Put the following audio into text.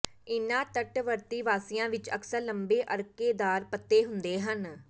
ਇਨ੍ਹਾਂ ਤੱਟਵਰਤੀ ਵਾਸੀਆਂ ਵਿੱਚ ਅਕਸਰ ਲੰਬੇ ਅਰਕੇਦਾਰ ਪੱਤੇ ਹੁੰਦੇ ਹਨ